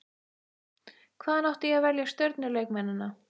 Hvaðan átti ég að velja stjörnuleikmennina?